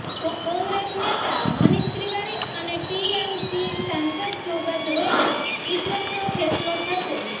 કોંગ્રેસ નેતા મનીષ તિવારી અને ટીએમસી સાંસદ સોગત રોયના કિસ્મતનો ફેંસલો થશે